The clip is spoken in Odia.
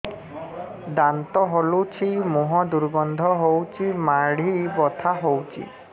ଦାନ୍ତ ହଲୁଛି ମୁହଁ ଦୁର୍ଗନ୍ଧ ହଉଚି ମାଢି ବଥା ହଉଚି